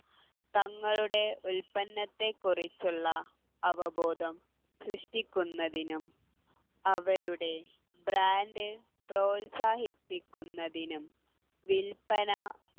തങ്ങളുടെ ഉല്പന്നത്തെ കുറിച്ചുള്ള അവബോധം സൃഷ്ടിക്കുന്നതിനും അവരുടെ brand പ്രോത്സാഹിപ്പിക്കുന്നതിനും വില്പന